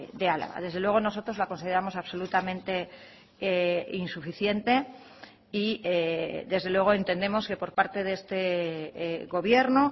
de álava desde luego nosotros la consideramos absolutamente insuficiente y desde luego entendemos que por parte de este gobierno